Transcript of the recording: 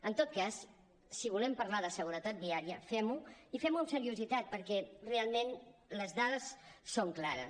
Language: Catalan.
en tot cas si volem parlar de seguretat viària fem ho i fem ho amb seriositat perquè realment les dades són clares